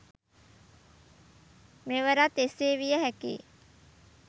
මෙවරත් එසේ විය හැකි යි.